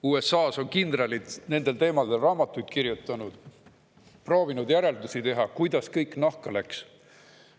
USA-s on kindralid nendel teemadel raamatuid kirjutanud, proovinud järeldusi teha, kuidas kõik nahka läks.